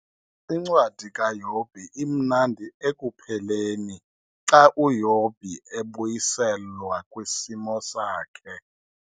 INcwadi kaYobhi imnandi ekupheleni xa uYobhi ebuyiselwa kwisimo sakhe.